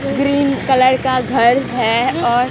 green colour का घर है और--